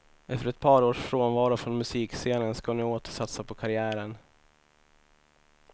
Efter ett par års frånvaro från musikscenen ska hon nu åter satsa på karriären.